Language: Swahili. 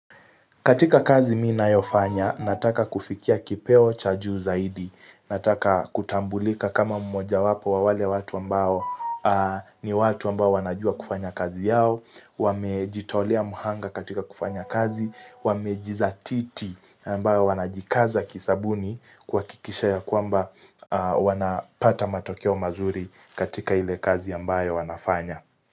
Katika kazi ninayofanya, nataka kufikia kipeo cha juu zaidi, nataka kutambulika kama mmoja wapo wa wale watu ambao ni watu ambao wanajua kufanya kazi yao, wamejitolea mhanga katika kufanya kazi, wamejizatiti ambao wanajikaza kisabuni kwa kuhakikisha ya kwamba wanapata matokeo mazuri katika ile kazi ambayo wanafanya.